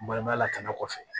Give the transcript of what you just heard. Balima lakana kɔfɛ